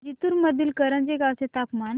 जिंतूर मधील करंजी गावाचे तापमान